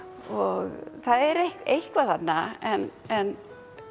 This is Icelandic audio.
og það er eitthvað þarna en en